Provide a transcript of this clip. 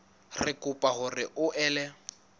re kopa hore o ele